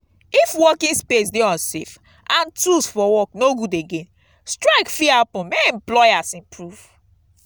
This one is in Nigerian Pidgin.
if working space de unsafe and tools for work no good again strike fit happen make employers improve